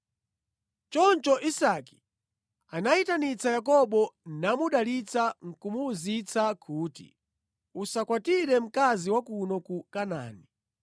Choncho Isake anayitanitsa Yakobo namudalitsa nʼkumuwuzitsa kuti, “Usakwatire mkazi wa kuno ku Kanaani.